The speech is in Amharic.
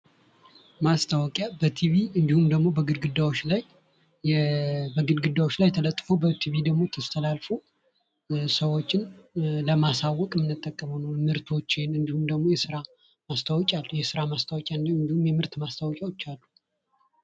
ማስታወቂያ በቲቪ እንዲሁም በግድግዳዎች ላይ ተለጥፎ በቲቪ ደግሞ ተስተላልፎ ሰዎችን ለማሳወቅ የምንጠቀመው ነው። ምርቶችን እንዲሁም ደግምሞ የስራ ምአስታወቂያ እንዲሁም የምርት ማስታወቂያዎች አሉ።